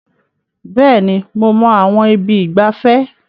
Bẹ́ẹ̀ni, mo mọ àwọn ibi ìgbafẹ́.